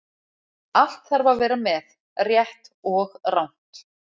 Allt þarf að vera með, rétt og rangt.